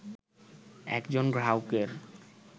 একজন গ্রাহকের